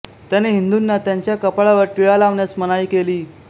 त्याने हिंदूंना त्यांच्या कपाळावर टिळा लावण्यास मनाई केली